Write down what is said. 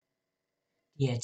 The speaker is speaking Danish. DR2